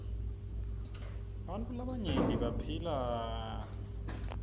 bartfu labaryenti baphila nyabed